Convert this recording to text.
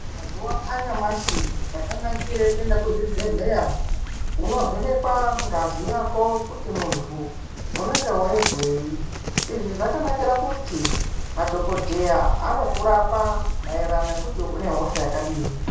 Mazuwa anyamashi chakanakire kuende kuzvibhedhleya unovhenekwa ngazi yako kuti muntu unenge weizwisei izvi zvakanakira kuti madhokodheya maererano nekuti unehksha yakadii.